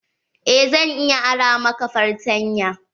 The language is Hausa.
Eh, zan iya ara maka fartanya.